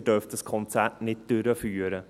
«Sie dürfen dieses Konzert nicht durchführen.